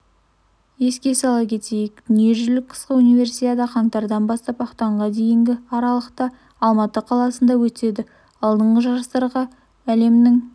еске сала кетейік дүниежүзілік қысқы универсиада қаңтардан ақпанға дейінгі аралықта алматы қаласында өтеді алдыңғы жарыстарға әлемнің